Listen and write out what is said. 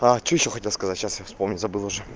а что ещё хотел сказать сейчас я вспомню забыл